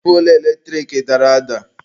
Poolu eletrik dara ada.